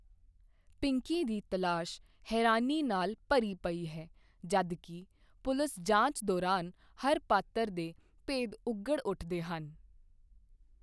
ਪਿੰਕੀ ਦੀ ਤਲਾਸ਼ ਹੈਰਾਨੀ ਨਾਲ ਭਰੀ ਪਈ ਹੈ, ਜਦ ਕਿ ਪੁਲਿਸ ਜਾਂਚ ਦੌਰਾਨ ਹਰ ਪਾਤਰ ਦੇ ਭੇਦ ਉਘੜ ਉੱਠਦੇ ਹਨ।